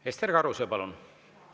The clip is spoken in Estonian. Ester Karuse, palun!